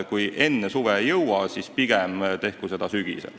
Kui enne suve ei jõua, siis pigem saagu see teoks sügisel.